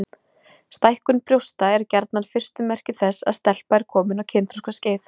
Stækkun brjósta er gjarnan fyrstu merki þess að stelpa er komin á kynþroskaskeið.